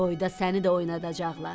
Toyda səni də oynadacaqlar.